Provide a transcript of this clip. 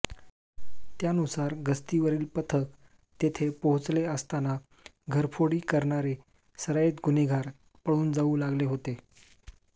त्यानूसार गस्तीवरील पथक तेथे पोहचले असताना घरफोडी करणारे सराईत गुन्हेगार पळून जाऊ लागले होते